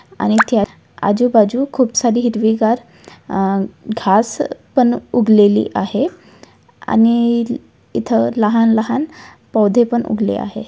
आणि त्यात आजूबाजू खूप सारी हिरवीगार अह घास पण उगलेली आहे आणि इथं लहान-लहान पौधे पण उगले आहे.